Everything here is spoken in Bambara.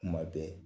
Kuma bɛɛ